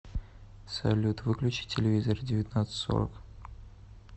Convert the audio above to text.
салют выключи телевизор в девятнадцать сорок